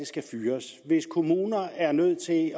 skal fyres hvis kommuner er nødt til at